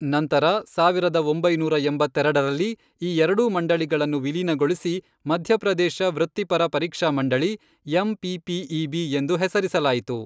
ನಂತರ, ಸಾವಿರದ ಒಂಬೈನೂರ ಎಂಬತ್ತೆರಡರಲ್ಲಿ, ಈ ಎರಡೂ ಮಂಡಳಿಗಳನ್ನು ವಿಲೀನಗೊಳಿಸಿ ಮಧ್ಯಪ್ರದೇಶ ವೃತ್ತಿಪರ ಪರೀಕ್ಷಾ ಮಂಡಳಿ, ಎಂಪಿಪಿಇಬಿ, ಎಂದು ಹೆಸರಿಸಲಾಯಿತು.